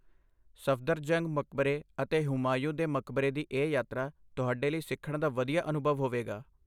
ਸਫਦਰਜੰਗ ਮਕਬਰੇ ਅਤੇ ਹੁਮਾਯੂੰ ਦੇ ਮਕਬਰੇ ਦੀ ਇਹ ਯਾਤਰਾ ਤੁਹਾਡੇ ਲਈ ਸਿੱਖਣ ਦਾ ਵਧੀਆ ਅਨੁਭਵ ਹੋਵੇਗਾ।